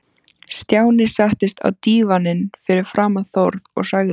Stjáni settist á dívaninn fyrir framan Þórð og sagði